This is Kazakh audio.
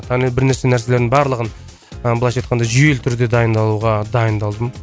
барлығын ы былайша айтқанда жүйелі түрде дайындалуға дайындалдым